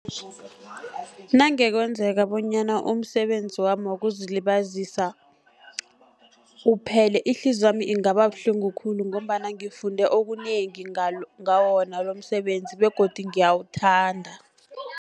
Nange kwenzeka bonyana umsebenzi wami wokuzilibazisa uphele, ihliziyo yami ingaba buhlungu khulu, ngombana ngifunde okunengi ngawo wona lomsebenzi begodi ngiyawuthanda.